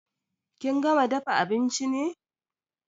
Kin gama dafa abinchi ne?